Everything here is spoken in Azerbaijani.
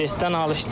Presdən alışdı.